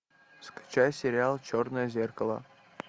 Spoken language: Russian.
скачай сериал черное зеркало